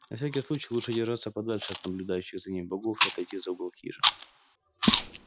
на всякий случай лучше держаться подальше от наблюдающих за ним богов и отойти за угол хижины